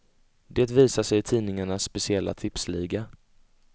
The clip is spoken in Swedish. Det visar sig i tidningarnas speciella tipsliga.